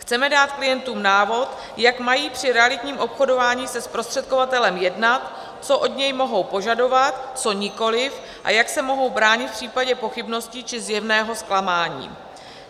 Chceme dát klientům návod, jak mají při realitním obchodování se zprostředkovatelem jednat, co od něj mohou požadovat, co nikoliv a jak se mohou bránit v případě pochybností či zjevného zklamání.